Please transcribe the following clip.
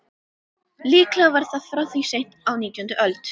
Líklega var það frá því seint á nítjándu öld.